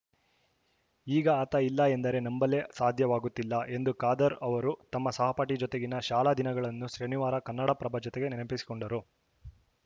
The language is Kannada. ಈಗ ಆತ ಇಲ್ಲ ಎಂದರೆ ನಂಬಲೇ ಸಾಧ್ಯವಾಗುತ್ತಿಲ್ಲ ಎಂದು ಖಾದರ್‌ ಅವರು ತಮ್ಮ ಸಹಪಾಠಿ ಜೊತೆಗಿನ ಶಾಲಾ ದಿನಗಳನ್ನು ಶನಿವಾರ ಕನ್ನಡಪ್ರಭ ಜೊತೆಗೆ ನೆನಪಿಸಿಕೊಂಡರು